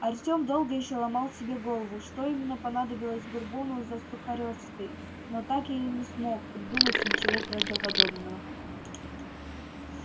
артём долго ещё ломал себе голову что именно понадобилось бурбону за сухарёвской но так и не смог придумать ничего правдоподобного